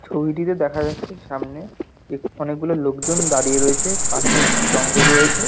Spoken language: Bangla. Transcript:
ছবিটিতে দেখা যাচ্ছে সামনে অনেকগুলো লোকজন দাঁড়িয়ে রয়েছে পাশে একটি জঙ্গল রয়েছে।